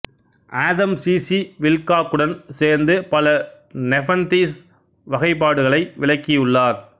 Adam C C வில்காக்குடன் சோ்ந்து பல நெபன்தீஸ் வகைப்பாடுகளை விளக்கியுள்ளாா்